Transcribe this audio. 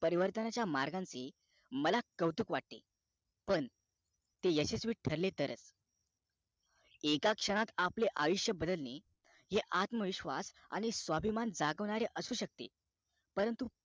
परिवर्तनाच्या मार्गांची मला कौतुक वाटे पण ते यशस्वी ठरलेतरच एक क्षणात आपले आयुष्य बदलणे हे आत्म विश्वास आणि स्वाभिमान जागवणारे असू शकते परंतु